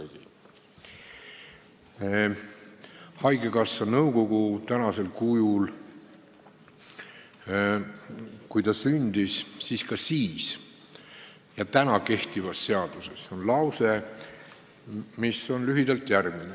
Kui haigekassa nõukogu sündis, siis oli seaduses ja on ka kehtivas seaduses lause, mis on lühidalt järgmine.